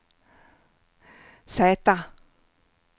Z